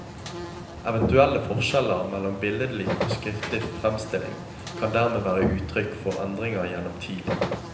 Eventuelle forskjeller mellom billedlig og skriftlig fremstilling kan dermed være uttrykk for endringer gjennom tid.